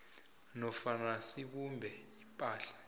nofana sibumbe ipahla